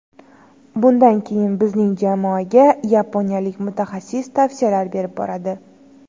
Bundan keyin bizning jamoaga yaponiyalik mutaxassis tavsiyalar berib boradi.